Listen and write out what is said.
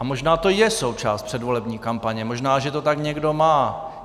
A možná to je součást předvolební kampaně, možná že to tak někdo má.